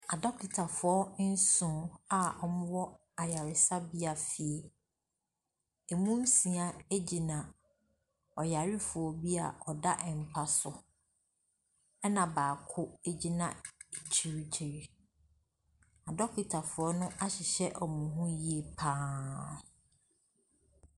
Adokitafoɔ nson a ɔmo wɔ ayaresabea fie. Emu nsia agyina oyarefo bi a ɔda ɛmpa so ɛna baako agyina akyiri kyiri. Adokita fo no ahyehyɛ ɔmo ho yie paa.